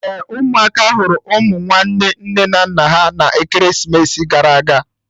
Ee, ụmụaka hụrụ ụmụ nwanne nne na nna ha na ekeresimesi gara aga